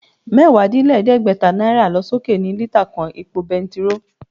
Mẹ́wàá-dín-lẹ́gbẹ́ta náírà lọ sókè ní lítà kan epo bentiróò